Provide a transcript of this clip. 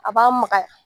A b'a magaya